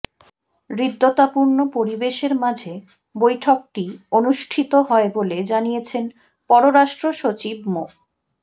হৃদ্যতাপূর্ণ পরিবেশের মাঝে বৈঠকটি অনুষ্ঠিত হয় বলে জানিয়েছেন পররাষ্ট্র সচিব মো